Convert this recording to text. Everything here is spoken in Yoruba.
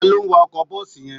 Ta ló ń wa ọkọ bọ́ọ̀sì yẹn